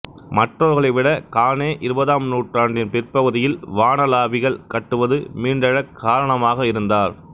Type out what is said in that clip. மற்றவர்களைவிட கானே இருபதாம் நூற்றாண்டின் பிற்பகுதியில் வானளாவிகள் கட்டுவது மீண்டெழ காரணமாக இருந்தார்